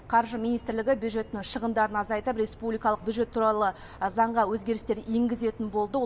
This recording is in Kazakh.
қаржы министрлігі бюджеттің шығындарын азайтып республикалық бюджет туралы заңға өзгерістер енгізетін болды